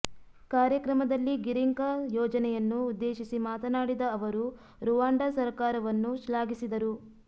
ಕಾರ್ಯಕ್ರಮದಲ್ಲಿ ಗಿರಿಂಕ ಯೋಜನೆಯನ್ನು ಉದ್ದೇಶಿಸಿ ಮಾತನಾಡಿದ ಅವರು ರುವಾಂಡ ಸರ್ಕಾರವನ್ನು ಶ್ಲಾಘಿಸಿದರು